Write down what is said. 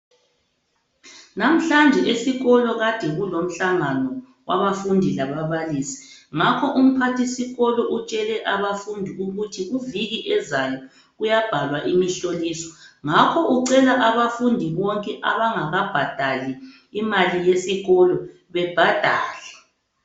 Namhlanje esikolo kade kulo mhlangano wabafundi lababalisi ngakho umphathisikolo utshele abafundi ukuthi kuviki ezayo kuyabhalwa imhloliso ngakho ucela abafundi bonke abangakabhadali imali yesikolo bebhadale.